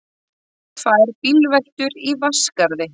Tvær bílveltur í Vatnsskarði